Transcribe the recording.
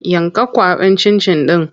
Yanka kwaɓin cin-cin ɗin!